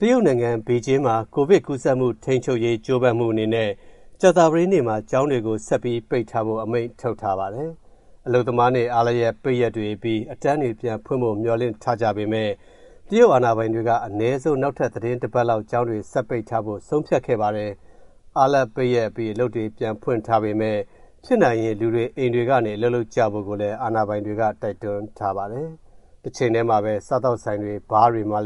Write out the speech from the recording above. တရုတ်နိုင်ငံ ဘေဂျင်းမှာ ကိုဗစ်ကူးစက်မှု ထိန်းချုပ်ရေး ကြိုးပမ်းမှုအနေနဲ့ ကြာသပတေးနေ့မှာ ကျောင်းတွေကို ဆက်ပြီးပိတ်ထားဖို့ အမိန့်ထုတ်ထားပါတယ်။ အလုပ်သမားနေ့အားလပ်ရက် ပိတ်ရက်တွေအပြီး အတန်းတွေပြန်ဖွင့်ဖို့ မျှော်လင့်ထားကြပေမယ့် အာဏာပိုင်တွေက အနည်းဆုံး နောက်ထပ်သီတင်းတပတ်လောက် ကျောင်းတွေဆက်ပိတ်ထားဖို့ ဆုံးဖြတ်ခဲ့ပါတယ်။ အားလပ်ပိတ်ရက်အပြီး အလုပ်တွေပြန်ဖွင့်ထားပေမယ့် ဖြစ်နိုင်ရင် လူတွေအိမ်တွေကနေ အလုပ်လုပ်ကြဖို့ အာဏာပိုင်တွေက တိုက်တွန်းထားပါတယ်။ တချိန်တည်းမှာပဲ စားသောက်ဆိုင်တွေ၊ ဘားဆိုင်တွေမှာ